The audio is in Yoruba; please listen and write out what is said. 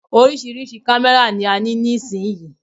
Oríṣiríṣi kámẹ́rà ni a ní nísìyí.